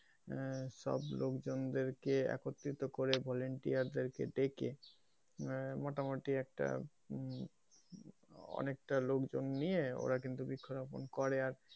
আহ সব লোকজনদের কে একত্রিত করে volunteer দের কে ডেকে আহ মোটামটি একটা উম অনেকটা লোকজন নিয়ে ওরা কিন্তু বৃক্ষরোপণ করে,